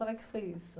Como é que foi isso?